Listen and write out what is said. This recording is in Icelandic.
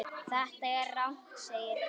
Þetta er rangt segir Páll.